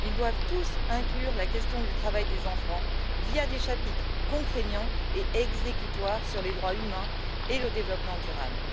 Ils doivent tous inclure la question du travail des enfants par des chapitres contraignants et exécutoires sur les droits humains et le développement durable.